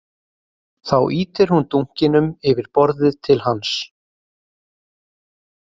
Þá ýtir hún dunkinum yfir borðið til hans